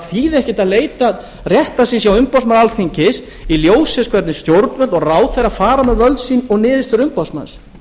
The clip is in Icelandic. þýði ekkert að leita réttar síns hjá umboðsmanni alþingis í ljósi þess hvernig stjórnvöld og ráðherrar fara með völd sín og niðurstöður umboðsmanns